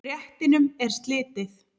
Réttinum er slitið.